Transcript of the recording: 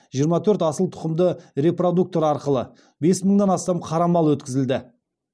жиырма төрт асыл тұқымды репродуктор арқылы бес мыңнан астам қара мал өткізілді